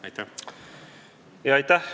Aitäh!